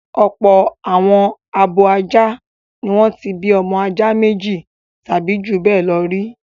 Ọ̀pọ̀ àwọn abo ajá ni wọ́n ti bí ọmọ ajá méjì tàbí ju bẹ́ẹ̀ lọ rí.